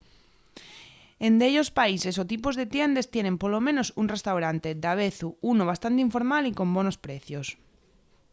en dellos países o tipos de tiendes tienen polo menos un restaurante davezu unu bastante informal y con bonos precios